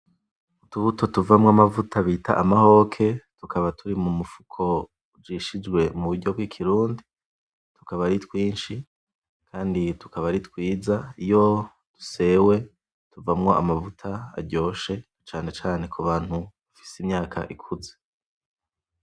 Utubuto tuvamwo amavuta bita amahoke, tukaba turi mumufuko ujishijwe muburyo bw'ikirundi, tukaba ari twinshi kandi tukaba ari twiza. Iyo dusewe tuvamwo amavuta aryoshe cane cane kubantu bafise imyaka ikuze.